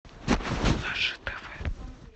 наше тв